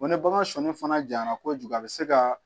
Wa ni bagan sɔnni fana jara kojugu a bɛ se ka